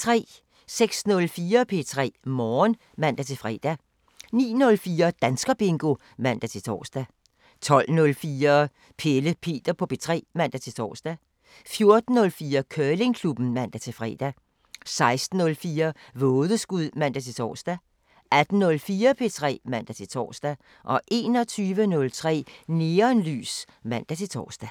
06:04: P3 Morgen (man-fre) 09:04: Danskerbingo (man-tor) 12:04: Pelle Peter på P3 (man-tor) 14:04: Curlingklubben (man-fre) 16:04: Vådeskud (man-tor) 18:04: P3 (man-tor) 21:03: Neonlys (man-tor)